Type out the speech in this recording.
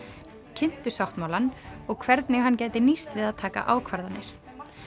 kynntu sáttmálann og hvernig hann gæti nýst við að taka ákvarðanir